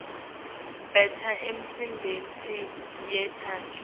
benta imisebenti yetandla